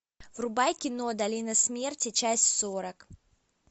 врубай кино долина смерти часть сорок